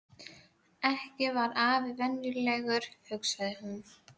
Ekki var afi venjulegur, hugsaði hún.